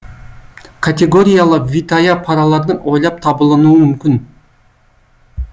категориялы витая паралардың ойлап табылынуы мүмкін